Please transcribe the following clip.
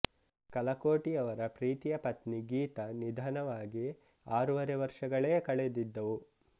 ಕಲಕೋಟಿಯವರ ಪ್ರೀತಿಯ ಪತ್ನಿ ಗೀತ ನಿಧನವಾಗಿ ಆರೂವರೆ ವರ್ಷಗಳೇ ಕಳೆದಿದ್ದವು